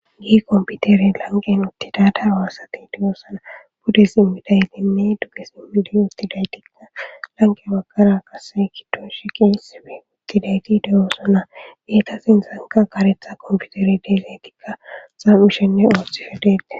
Gi komputere lanqen uttida darwaassati de'oossana bude simmidaytinne dugge simmidi uttidaytikka lanqe bakara kase kiddo shiqiisife uttidayti deyoossana beeta sinsanka karetha kompiuteri deezetikka saam'u shenne ooththifedeete